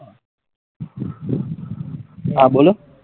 હા બોલો